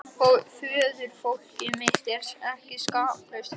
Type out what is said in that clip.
Föðurfólkið mitt er ekki skaplaust heldur.